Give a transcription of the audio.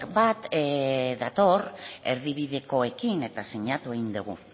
bat dator erdi bidekoekin eta sinatu egin dugu